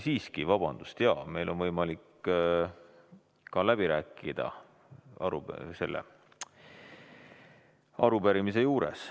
Siiski, vabandust, jaa, meil on võimalik ka läbi rääkida selle arupärimise raames.